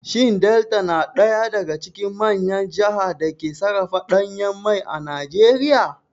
Shin Delta na ɗaya daga cikin manyan jaha da ke sarrafa ɗanyen mai a Najeriya?